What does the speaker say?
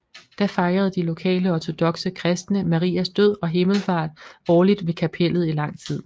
Da fejrede de lokale ortodokse kristne Marias død og himmelfart årligt ved kapellet i lang tid